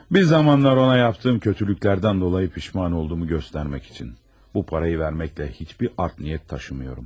Bir zamanlar ona etdiyim pisliklərə görə peşman olduğumu göstərmək üçün bu pulu verməklə heç bir pis niyyət daşımıram.